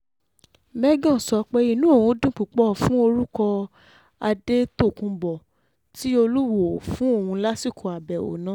mẹ́gàn sọ pé inú òun dùn púpọ̀ fún orúkọ adétòkùnbó tí um olúwọ́ọ́ fún òun lásìkò àbẹ̀wò um náà